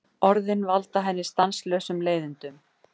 Orðin valda henni stanslausum leiðindum.